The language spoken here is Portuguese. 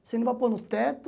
Você não vai pôr no teto.